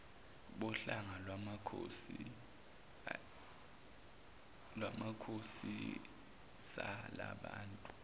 bohlanga lwamakhoisan lababantu